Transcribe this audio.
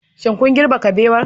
Shin kun girbe kabewa